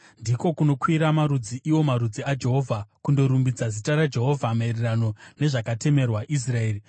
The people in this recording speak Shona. Ndiko kunokwira marudzi, iwo marudzi aJehovha, kundorumbidza zita raJehovha maererano nezvakatemerwa Israeri.